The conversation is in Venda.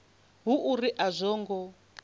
hu uri a zwo ngo